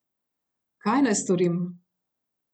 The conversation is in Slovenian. Kaj naj storim?